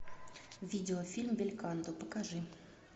видеофильм бельканто покажи